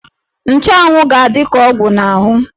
Nchanwụ ga-adị ka ọgwụ n'ahụ.